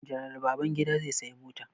General Babangida zai saya mota.